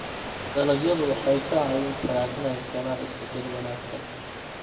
Dalagyadu waxay kaa caawin karaan inay keenaan isbeddel wanaagsan.